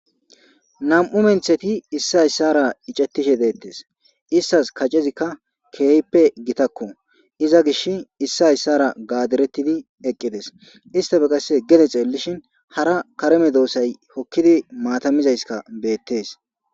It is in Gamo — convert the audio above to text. nam7u mentheti issi hayssara icettishe deettes istas kacezikka keehppe gitakko iza gish issi hayssara gaadirettidi eqqides istafe qasse gede xeellishin hara kareme doosay hokkidi maatamizayska beettees